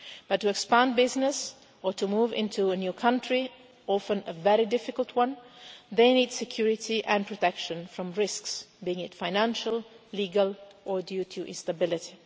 But to expand business or to move into a new country, often a very difficult one, they need security and protection from risks, be it financial, legal or due to instability.